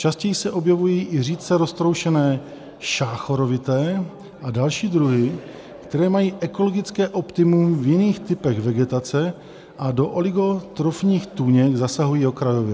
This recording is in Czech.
Častěji se objevují i řídce roztroušené šáchorovité a další druhy, které mají ekologické optimum v jiných typech vegetace a do oligotrofních tůněk zasahují okrajově.